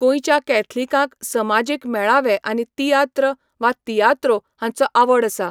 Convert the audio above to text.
गोंयच्या कॅथलिकांक समाजीक मेळावे आनी तियात्र वा तियात्रो हांचो आवड आसा.